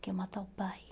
Que ia matar o pai.